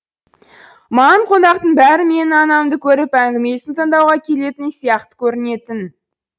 маған қонақтың бәрі менің анамды көріп әңгімесін тыңдауға келетін сияқты көрінетін